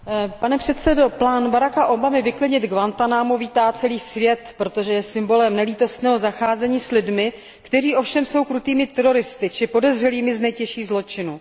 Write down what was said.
Pane předsedo, plán Baracka Obamy vyklidit Guantánamo vítá celý svět, protože je symbolem nelítostného zacházení s lidmi, kteří ovšem jsou krutými teroristy či podezřelými z nejtěžších zločinů.